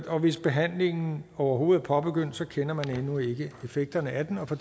og hvis behandlingen overhovedet er påbegyndt kender man endnu ikke effekterne af den og for